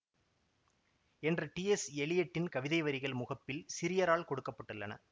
என்ற T S எலியட்டின் கவிதைவரிகள் முகப்பில் சிரியரால் கொடுக்க பட்டுள்ளன